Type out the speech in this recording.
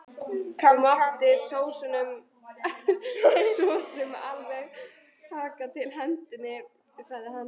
Það mátti sosum alveg taka til hendinni, sagði hann.